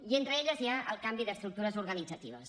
i entre elles hi ha el canvi d’estructures organitzatives